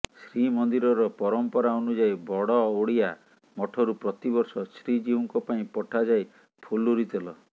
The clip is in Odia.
ଶ୍ରୀ ମନ୍ଦିରର ପରଂପରା ଅନୁଯାୟୀ ବଡଓଡିଆ ମଠରୁ ପ୍ରତିବର୍ଷ ଶ୍ରୀଜିଉଙ୍କ ପାଇଁ ପଠାଯାଏ ଫୁଲୁରୀ ତେଲ